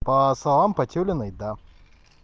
по словам потеляной да